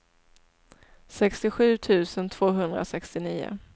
sextiosju tusen tvåhundrasextionio